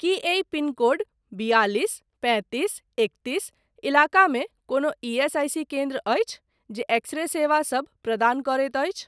की एहि पिनकोड बियालिस पैंतीस एकतीस इलाकामे कोनो ईएसआईसी केन्द्र अछि जे एक्स रे सेवा सब प्रदान करैत अछि।